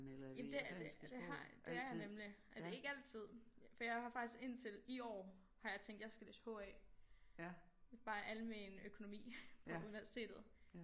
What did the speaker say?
Ja det det det har det er jeg nemlig øh ikke altid for jeg har faktisk indtil i år har jeg tænkt jeg skal læse H A bare almen økonomi på universitetet